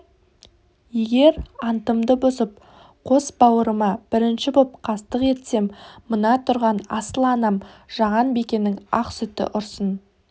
егер антымды бұзып қос бауырыма бірінші боп қастық етсем мына тұрған асыл анам жаған бикенің ақ сүті ұрсын